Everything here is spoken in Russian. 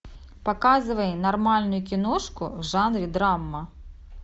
показывай нормальную киношку в жанре драма